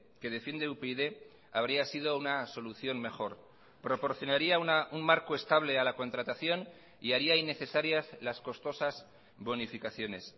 que defiende upyd habría sido una solución mejor proporcionaría un marco estable a la contratación y haría innecesarias las costosas bonificaciones